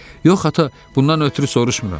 Yox, ata, bundan ötrü soruşmuram.